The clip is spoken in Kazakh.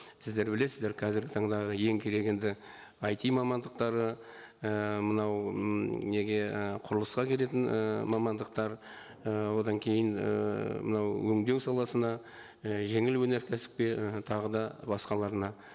сіздер білесіздер қазіргі таңдағы ең керек енді айти мамандықтары і мынау м неге і құрылысқа келетін і мамандықтар і одан кейін ііі мынау өңдеу саласына і жеңіл өңеркәсіпке і тағы да басқаларына